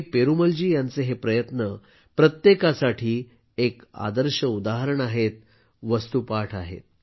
पेरूमलजी यांचे हे प्रयत्न प्रत्येकासाठी एक आदर्श उदाहरण आहेत वस्तुपाठ आहे